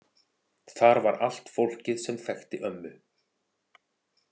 Þar var allt fólkið sem þekkti ömmu.